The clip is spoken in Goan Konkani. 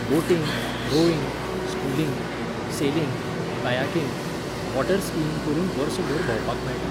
Boating, rowing, sculling, sailing, kayaking, water skiing करून वर्सभर भोंवपाक मेळटा.